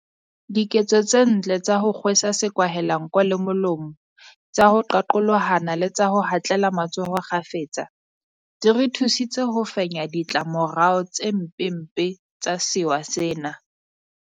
Diketso tse ntle tsa ho kgwe sa sekwahelanko le molomo, tsa ho qaqolohana le tsa ho hatlela matsoho kgafetsa di re thusitse ho fenya ditla morao tse mpempe tsa sewa sena.